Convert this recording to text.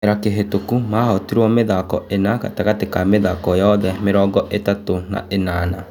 Kĩ mera kĩ hĩ tũku mahotirwo mĩ thako ĩ na gatagatĩ ga mĩ thako yothe mĩ rongo ĩ tatũ na ĩ nana.